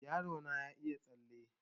Yaro na ya iya tsalle